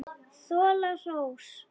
Þola hrós.